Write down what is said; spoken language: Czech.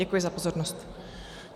Děkuji za pozornost.